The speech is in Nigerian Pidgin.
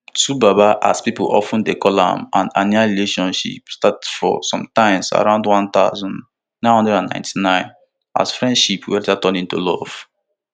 twobaba as pipo of ten dey call am and annie relationship start for sometimes around one thousand, nine hundred and ninety-nine as friendship wey later turn into love